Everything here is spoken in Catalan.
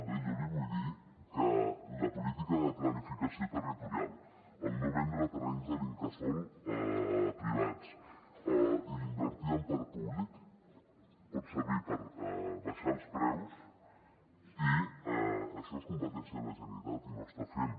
bé jo li vull dir que la política de planificació territorial no vendre terrenys de l’incasòl privats i invertir en parc públic pot servir per abaixar els preus i això és competència de la generalitat i no ho està fent